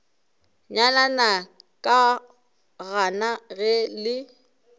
nyalana ke gana ge le